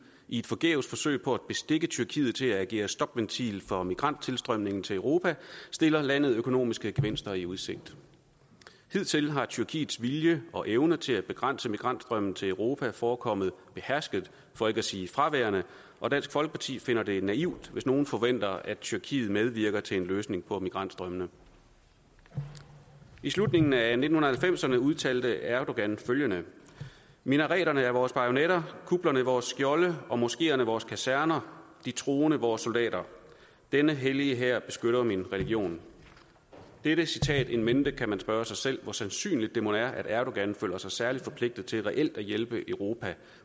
i et forgæves forsøg på at bestikke tyrkiet til at agere stopventil for migranttilstrømningen til europa stiller landet økonomiske gevinster i udsigt hidtil har tyrkiets vilje og evne til at begrænse migrantstrømmen til europa forekommet behersket for ikke at sige fraværende og dansk folkeparti finder det naivt hvis nogen forventer at tyrkiet medvirker til en løsning på migrantstrømmene i slutningen af nitten halvfemserne udtalte erdogan følgende minareterne er vores bajonetter kuplerne vores skjolde og moskeerne vores kaserner de troende vores soldater denne hellige hær beskytter min religion med dette citat in mente kan man spørge sig selv hvor sandsynligt det mon er at erdogan føler sig særlig forpligtet til reelt at hjælpe europa